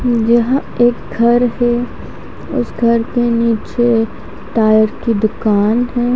यहा एक घर है उस घर के निचे टायर की दूकान है।